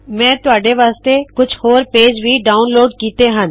ਮੈ ਤੁਹਾਡੇ ਵਾਸਤੇ ਕੁਛ ਹੋਰ ਪੇਜ ਵੀ ਡਾਉਨਲੋਡ ਕੀੱਤੇ ਹਨ